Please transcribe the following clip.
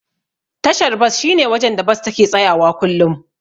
Tashar bas shine wajen da Bas take tsayawa kullum.